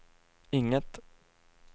inget